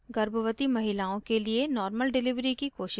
गर्भवती महिलाओं के लिए normal delivery की कोशिश करनी चाहिए